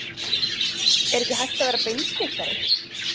Er ekki hægt að vera beinskeyttari?